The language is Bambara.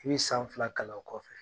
I bi san fila kalan o kɔfɛ